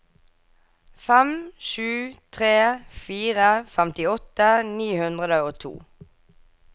fem sju tre fire femtiåtte ni hundre og to